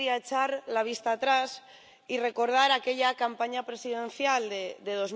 Yo querría echar la vista atrás y recordar aquella campaña presidencial de